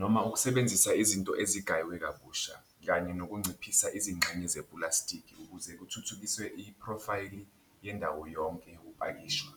noma ukusebenzisa izinto ezigaywe kabusha kanye nokunciphisa izingxenye zepulastikhi ukuze kuthuthukiswe iphrofayili yendawo yonke ukupakishwa.